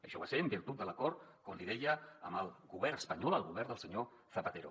això va ser en virtut de l’acord com li deia amb el govern espanyol el govern del senyor zapatero